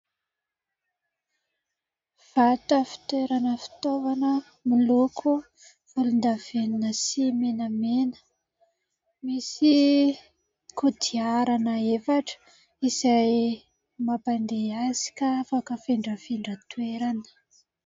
Varotra fitoerana fitaovana miloko volondavenona sy menamena. Misy kodiarana efatra izay mampandeha azy ka afaka hafindrafindra toerana.